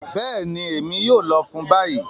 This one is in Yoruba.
Bẹẹni, Emi yoo lọ fun bayi.